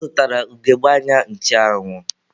Ọ zụtara ugegbe anya ncheanwụ.